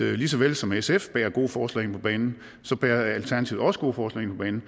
at lige så vel som sf bærer gode forslag ind på banen bærer alternativet også gode forslag ind